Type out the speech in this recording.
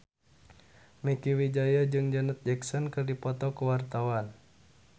Mieke Wijaya jeung Janet Jackson keur dipoto ku wartawan